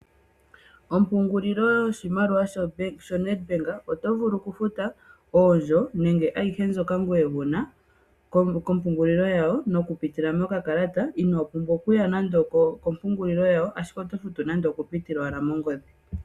Ompungulilo yoshimaliwa shoNedBank oto vulu okufuta oondjo nenge ayihe mbyika wuna ngoye wuna kompungulilo yawo mokupitila mokakalata inoo pumbwa okuya nande okompungululilo yawo ashike oto futu nande okupitila owala mongodhi.